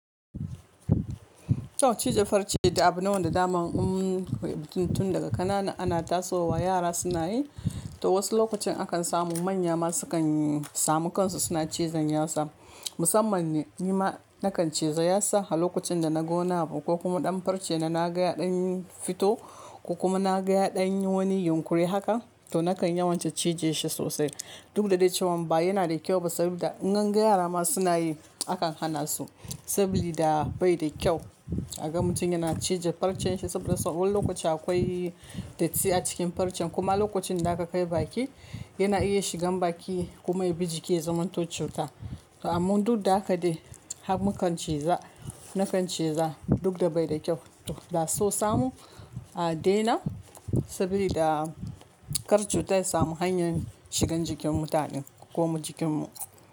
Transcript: To cije farce da abu ne wanda dama in kai mutum tun daga ƙanana ana tasowa yara suna yi, to wasu lokacin akan samu manya ma sukan samu kansu suna cizon yatsa. Musamman ni ma na kan cize yatsa lokacin da na ga wani abu ko kuma ɗan farce na na ga ɗan fito ko kuma na ga ɗan wani yunƙuri haka to na kan yawanci cije shi sosai. Duk da dai cewa ba yana da kyau ba saboda idan ka ga yara ma suna yi akan hana su saboda bai da kyau. A ga mutum yana cije farcen shi saboda sau wani lokaci akwai datti a cikin farcen. Kuma lokacin da aka kai baki yana iya shigan baki kuma ya bi jiki zaman to cuta. Amman duk da haka dai har mu kan ciza na kan ciza duk da bai da kyau. To da so samu a daina saboda kar cutar samu hanyar shigan jikin mutane ko kuma jikinmu.